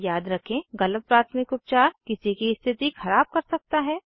याद रखें गलत प्राथमिक उपचार किसी की स्थिति ख़राब कर सकता है